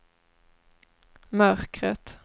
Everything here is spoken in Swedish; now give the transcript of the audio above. mörkret